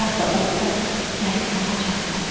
Harda olsa gəlib tapacaq məni.